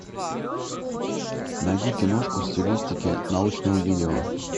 найди киношку в стилистике научного видео